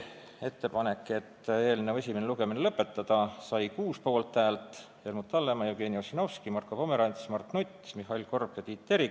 Ettepanek eelnõu esimene lugemine lõpetada sai 6 poolthäält: Helmut Hallemaa, Jevgeni Ossinovski, Marko Pomerants, Mart Nutt, Mihhail Korb ja Tiit Terik.